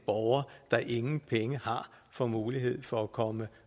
borgere der ingen penge har får mulighed for at komme